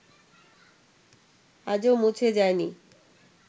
আজও মুছে যায়নি